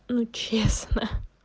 ну честно